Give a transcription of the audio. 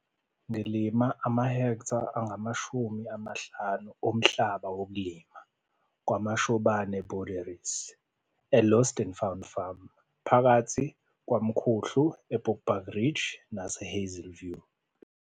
Ngilima amahektha angama-50 omhlaba wokulima kwaMashobane Boerdery, e-Loss and Found Farm, phakathi koMkhuhlu, eBushbuckridge, neHazyview.